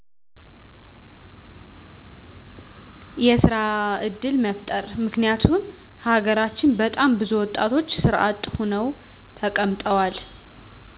የስራ ዕድል መፍጠር ምክንያቱም ሀገራችን በጣም ብዙ ወጣቶች ስራ አጥ ሁነው ተቀምጠዋል